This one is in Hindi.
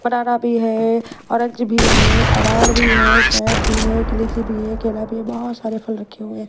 बनाना भी है ऑरेंज भी है अनार भी है शेब भी है लीची भी है केला भी है बहोत सारे फल रखे हुए हैं।